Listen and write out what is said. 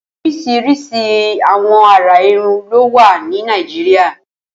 Óriṣiriṣi awọn àrà irùn ló wà ni Nàijiriá